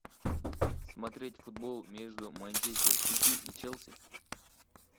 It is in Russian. смотреть футбол между манчестер сити и челси